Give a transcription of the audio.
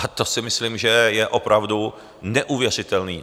A to si myslím, že je opravdu neuvěřitelné.